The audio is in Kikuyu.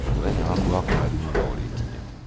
mũthenya waku wa kũrathimwo no ũrĩ kinya